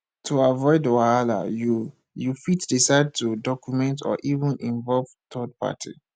to avoid wahala you you fit decide to document or even involve third party